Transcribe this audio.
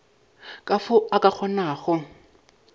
ka fao a ka kgonago